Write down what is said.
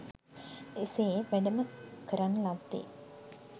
එසේ වැඩම කරන ලද්දේ